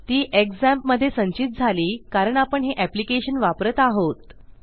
ती झॅम्प मधे संचित झाली कारण आपण हे एप्लिकेशन वापरत आहोत